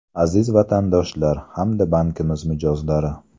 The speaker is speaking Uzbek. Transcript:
Aziz Vatandoshlar hamda bankimiz mijozlari!